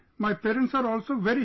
My parents are also very happy